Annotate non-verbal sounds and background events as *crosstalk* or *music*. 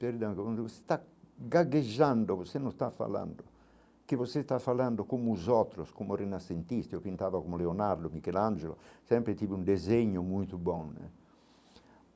Perdão, *unintelligible* você está gaguejando, você não está falando, que você está falando como os outros, como renascentista, eu pintava como Leonardo Michelangelo, sempre tive um desenho muito bom né.